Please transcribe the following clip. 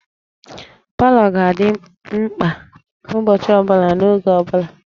Palọ ga-adị mkpa ụbọchị ọ bụla n'oge ọ bụla